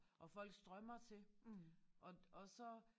Og folk strømmer til og og så